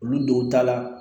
Olu don ta la